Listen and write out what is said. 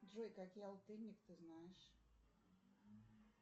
джой какие алтынник ты знаешь